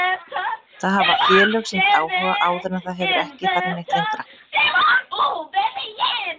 Það hafa félög sýnt áhuga áður en það hefur ekki farið neitt lengra.